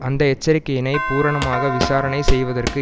அந்த எச்சரிக்கையினை பூரணமாக விசாரணை செய்வதற்கு